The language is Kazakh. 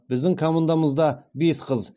біздің командамызда бес қыз